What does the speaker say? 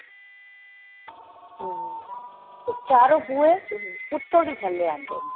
ਔਰ ਚਾਰੋ ਬੂਹੇ ਉਤੋ ਦੀ ਥੱਲੇ ਆਉਦੇ ਨੇ